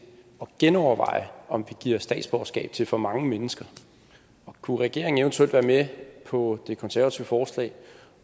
genoverveje om vi giver statsborgerskab til for mange mennesker kunne regeringen eventuelt være med på det konservative forslag